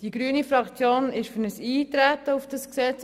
Die grüne Fraktion ist für Eintreten auf das Gesetz.